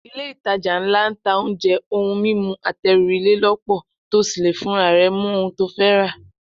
Ilé-ìtajà ńlá ń ta oúnjẹ, ohun mímu àtẹrù ilé lọ́pọ̀, to sì lè fúnra rẹ mú ohun to fẹ́ rà